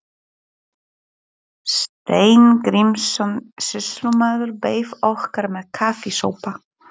Steingrímsson sýslumaður beið okkar með kaffisopa.